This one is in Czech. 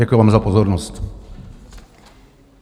Děkuji vám za pozornost.